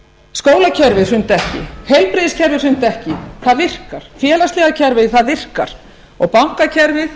skólakerfið samt ekki heilbrigðiskerfið samt ekki það virkar félagslega kerfið virkar og bankakerfið